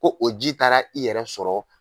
Ko o ji taara i yɛrɛ sɔrɔ